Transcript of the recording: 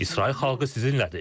İsrail xalqı sizinlədir.